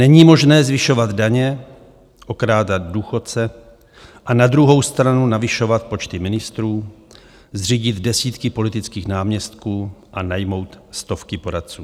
Není možné zvyšovat daně, okrádat důchodce a na druhou stranu navyšovat počty ministrů, zřídit desítky politických náměstků a najmout stovky poradců.